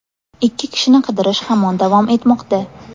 Ikki kishini qidirish hamon davom etmoqda.